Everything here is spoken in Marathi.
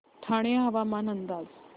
ठाणे हवामान अंदाज